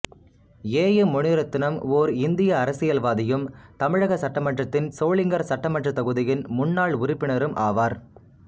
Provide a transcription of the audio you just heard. ஏ M Munirathinam ஓர் இந்திய அரசியல்வாதியும் தமிழக சட்டமன்றத்தின் சோளிங்கர் சட்டமன்றத் தொகுதியின் முன்னாள் உறுப்பினரும் ஆவார்